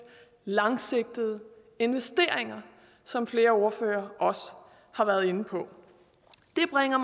langsigtede investeringer som flere ordførere også har været inde på det bringer